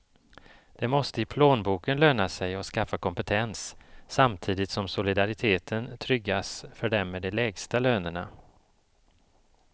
Det måste i plånboken löna sig att skaffa kompetens, samtidigt som solidariteten tryggas för dem med de lägsta lönerna.